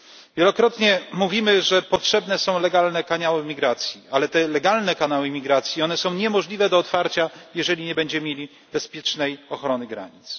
Wielokrotnie mówimy, że potrzebne są legalne kanały migracji, ale te legalne kanały imigracji są niemożliwe do otwarcia, jeżeli nie będziemy mieli bezpiecznej ochrony granic.